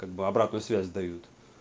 как бы обратную связь дают